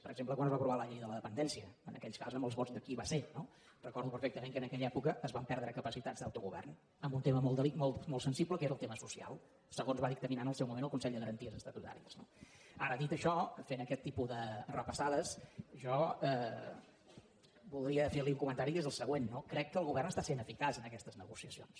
per exemple quan es va aprovar la llei de la dependència en aquell cas amb els vots de qui va ser no recordo perfectament que en aquella època es van perdre capacitats d’autogovern en un tema molt sensible que era el tema social segons va dictaminar en el seu moment el consell de garanties estatutàries no ara dit això fent aquest tipus de repassades jo voldria fer li un comentari que és el següent no crec que el govern està sent eficaç en aquestes negociacions